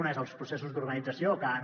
una són els processos d’urbanització que han